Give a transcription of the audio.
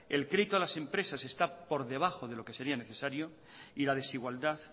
el crédito a las empresas está por debajo de lo que sería necesario y la desigualdad